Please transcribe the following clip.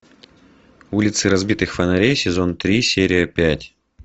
улицы разбитых фонарей сезон три серия пять